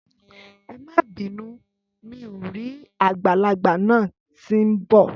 Ẹmà bínù, mi ò rì àgbàlàgbà nà tì ḿ bọ